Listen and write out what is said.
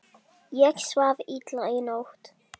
Ég svaf illa í nótt.